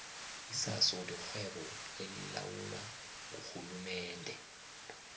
isaso lirhwebo elilawulwa ngurhulumende